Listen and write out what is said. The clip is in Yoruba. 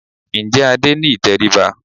Ǹjẹ́ Adé ní ìtẹríba?